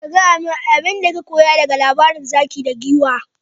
Ka gaya min abinda ka koya daga labarin zaki da Giwa.